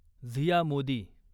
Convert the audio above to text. Zia Modi